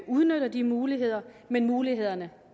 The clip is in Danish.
udnytter de muligheder men mulighederne